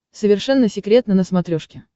совершенно секретно на смотрешке